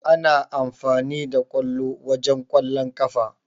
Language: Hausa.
A na amfani da ƙwallo wajen Ƙwallon ƙafa.